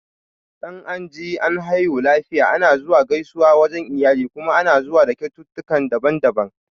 Dan anji an haihu lafiya ana zuwa gaisuwa wajan iyali kuma ana zuwa da kyaututtukan daban-daban